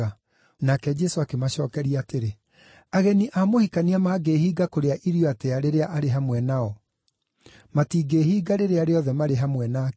Nake Jesũ akĩmacookeria atĩrĩ, “Ageni a mũhikania mangĩĩhinga kũrĩa irio atĩa rĩrĩa arĩ hamwe nao? Matingĩhinga rĩrĩa rĩothe marĩ hamwe nake.